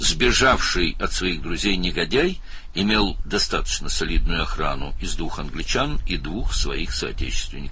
Dostlarından qaçmış alçaq iki ingilis və iki həmvətəndaşından ibarət kifayət qədər möhkəm mühafizəyə malik idi.